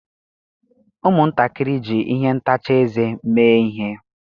Ụmụntakịrị ji ihe ntacha eze mee ihe.